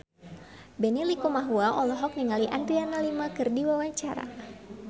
Benny Likumahua olohok ningali Adriana Lima keur diwawancara